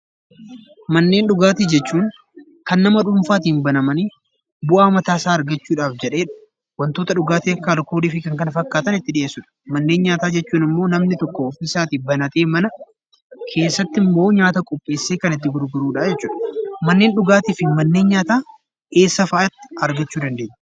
Manneen dhugaatii jechuun kan nama dhuunfaatiin banamanii, bu'aa mataasaa argachuudhaaf jedhee wantoota dhugaatii akka alkoolii fi kan kana fakkaatan itti dhiyeessudha. Manneen nyaataa jechuun immoo namni tokko ofiisaatii banatee mana keessatti immoo nyaata qopheessee kan itti gurguradha jechuudha. Manneen dhugaatii fi manneen nyaataa eessa fa'atti argachuu dandeenya?